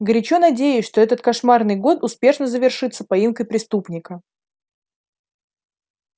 горячо надеюсь что этот кошмарный год успешно завершится поимкой преступника